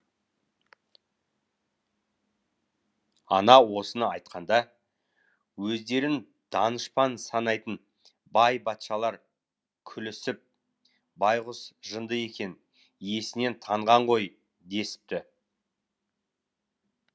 ана осыны айтқанда өздерін данышпан санайтын бай батшалар күлісіп байғұс жынды екен есінен танған ғой десіпті